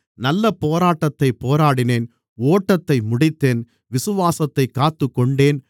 நல்ல போராட்டத்தைப் போராடினேன் ஓட்டத்தை முடித்தேன் விசுவாசத்தைக் காத்துக்கொண்டேன்